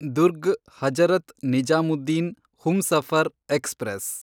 Durg Hazrat Nizamuddin Humsafar express